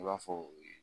I b'a fɔ